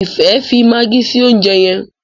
Ifẹ fí Maggie sí oúnjẹ yén.